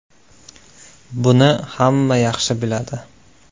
Buni hamma yaxshi biladi.